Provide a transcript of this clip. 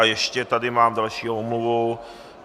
A ještě tady mám další omluvu.